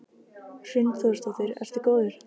Hrund Þórsdóttir: Ertu góður?